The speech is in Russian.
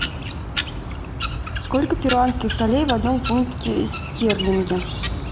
сколько перуанских солей в одном фунте стерлингов